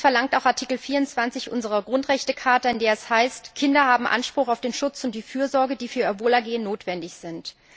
Dies verlangt auch Artikel 24 unserer Grundrechtecharta, in der es heißt Kinder haben Anspruch auf den Schutz und die Fürsorge, die für ihr Wohlergehen notwendig sind.